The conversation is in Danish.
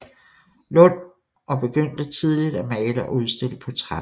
Lund og begyndte tidligt at male og udstille portrætter